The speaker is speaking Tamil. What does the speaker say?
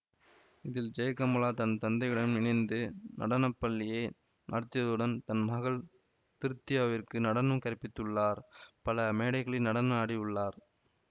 இதில் ஜெயகமலா தன் தந்தையுடன் இணைந்து நடனப்பள்ளியை நடத்தியதுடன் தன் மகள் திருத்தியாவிற்கு நடனம் கற்பித்துள்ளார் பல மேடைகளிலு நடன ஆடி உள்ளார்